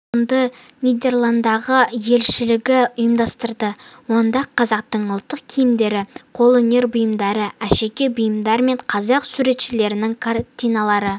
павильонды нидерландыдағы елшілігі ұйымдастырды онда қазақтың ұлттық киімдері қолөнер бұйымдары әшекей бұйымдар мен қазақ суретшілерінің картиналары